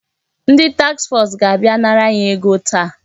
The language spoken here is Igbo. Ndị taks fọs ga-abịa nara anyị ego taa.